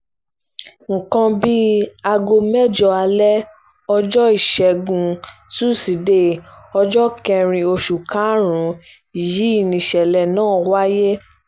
nǹkan bíi aago mẹ́jọ alẹ́ ọjọ́ ìṣẹ́guntúṣídẹ̀ẹ́ ọjọ́ kẹrin oṣù karùn-ún yìí nìṣẹ̀lẹ̀ náà wáyé